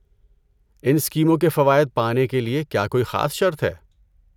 ان اسکیموں کے فوائد پانے کے لیے کیا کوئی خاص شرط ہے؟